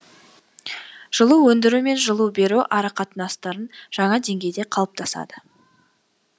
жылу өндіру мен жылу беру арақатынастарын жаңа деңгейде қалыптасады